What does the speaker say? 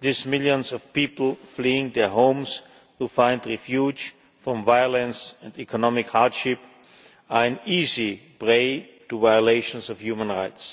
These millions of people fleeing their homes to find refuge from violence and economic hardship are an easy prey to violations of human rights.